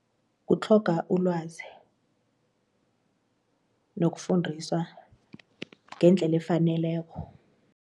Kutlhoga ulwazi nokufundiswa ngendlela efaneleko.